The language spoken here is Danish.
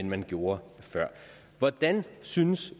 man gjorde før hvordan synes